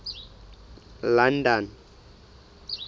london